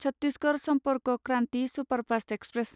Chhattisgarh Sampark Kranti superfast express